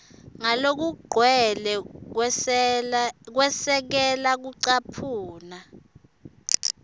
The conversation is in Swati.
ngalokugcwele kwesekela kucaphuna